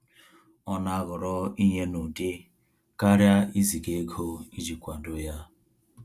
Ọ na aghọrọ inye n'ụdị karịa iziga ego iji kwado ya